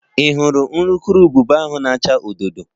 Ị hụrụ urukurubụba ahụ na-acha odo odo?